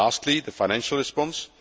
Lastly, the financial response.